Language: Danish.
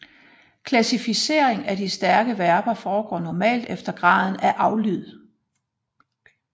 Klassificeringen af de stærke verber foregår normalt efter graden af aflyd